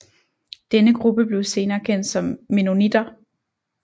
Denne gruppe blev senere kendt som mennonitter